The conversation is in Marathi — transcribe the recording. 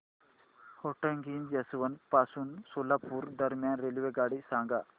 होटगी जंक्शन पासून सोलापूर दरम्यान रेल्वेगाडी सांगा